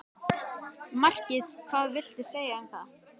Markið hvað viltu segja um það?